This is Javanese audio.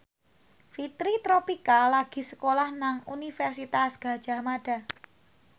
Fitri Tropika lagi sekolah nang Universitas Gadjah Mada